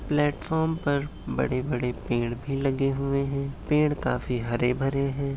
Platform पर बड़े- बड़े पेड़ भी लगे हुए है। पेड़ काफी हरे भरे है।